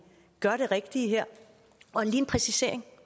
gør det rigtige her og lige en præcisering